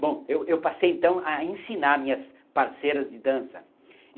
Bom, eu eu passei então a ensinar minhas parceiras de dança.